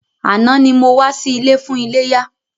Àná ni mo wá sí ilé fún iléyá.